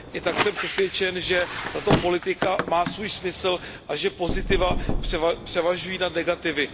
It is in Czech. I tak jsem přesvědčen, že tato politika má svůj smysl a že pozitiva převažují nad negativy.